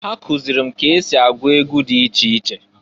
Ha kụzịlị m ka esi agụ egwu dị iche iche.